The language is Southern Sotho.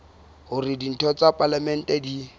hore ditho tsa palamente di